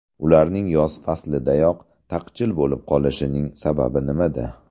Ularning yoz faslidayoq taqchil bo‘lib qolishining sababi nimada?